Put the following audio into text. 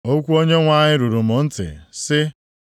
Okwu Onyenwe anyị ruru m ntị, sị,